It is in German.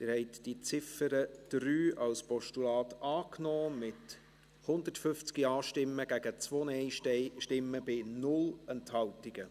Sie haben die Ziffer 3 als Postulat angenommen, mit 150 Ja- gegen 2 Nein-Stimmen bei 0 Enthaltungen.